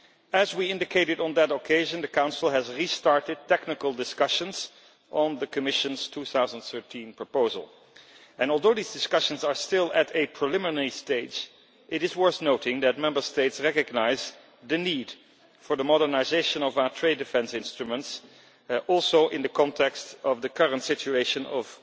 As we indicated on that occasion, the Council has restarted technical discussions on the Commission's 2013 proposal and, although these discussions are still at a preliminary stage, it is worth noting that Member States recognise the need for the modernisation of our trade defence instruments also in the context of the current situation of